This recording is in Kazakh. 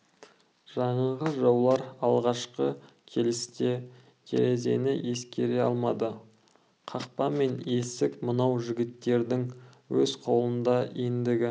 жаңағы жаулар алғашқы келісте терезені ескере алмады қақпа мен есік мынау жігіттердің өз қолында ендігі